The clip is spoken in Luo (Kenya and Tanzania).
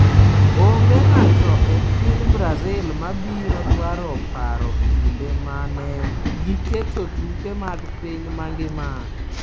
Onge ng’ato e piny Brazil ma biro dwaro paro kinde ma ne giketo tuke mag piny mangima.